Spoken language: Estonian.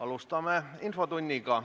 Alustame infotundi.